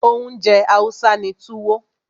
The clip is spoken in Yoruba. Oúnjẹ Hausa ni Tuwo.